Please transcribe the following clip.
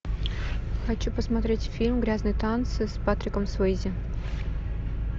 хочу посмотреть фильм грязные танцы с патриком суэйзи